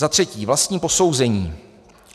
Za třetí - vlastní posouzení.